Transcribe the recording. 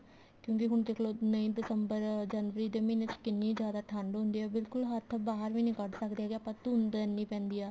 ਕਿਉਂਕਿ ਹੁਣ ਦੇਖੋ ਨਹੀਂ ਦਿਸੰਬਰ ਜਨਵਰੀ ਦੇ ਮਹੀਨੇ ਵਿੱਚ ਕਿੰਨੀ ਜਿਆਦਾ ਠੰਡ ਹੁੰਦੀ ਹੈ ਬਿਲਕੁਲ ਹੱਥ ਬਾਹਰ ਵੀ ਨੀ ਕੱਡ ਸਕਦੇ ਹੈਗੇ ਆਪਾਂ ਧੁੰਦ ਵੀ ਇੰਨੀ ਪੈਂਦੀ ਹੈ